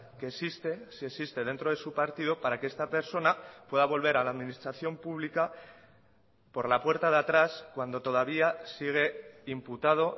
que existe si existe dentro de su partido para que esta persona pueda volver a la administración pública por la puerta de atrás cuando todavía sigue imputado